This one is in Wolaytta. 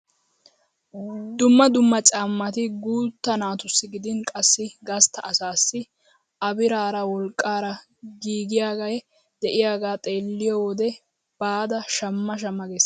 Dumma dumma caammati guutta natussi gidin qassi gastta asaassi a biraara wolqqaara giigiyaage de'iyaagaa xeelliyoo wode baada shamma shamma ges!